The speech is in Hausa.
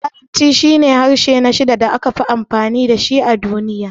Larabci shine harshe na shida da aka fi amfani da shi a duniya.